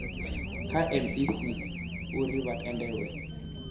kha mec uri vha tendelwe